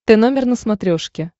т номер на смотрешке